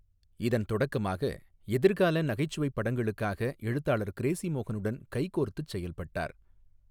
இதன் தொடக்கமாக, எதிர்கால நகைச்சுவைப் படங்களுக்காக எழுத்தாளர் கிரேஸி மோகனுடன் கைகோர்த்துச் செயல்பட்டார்.